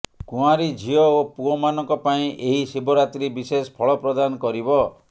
କୁଆଁରୀ ଝିଅ ଓ ପୁଅ ମାନଙ୍କ ପାଇଁ ଏହି ଶିବରାତ୍ରୀ ବିଶେଷ ଫଳ ପ୍ରଦାନ କରିବ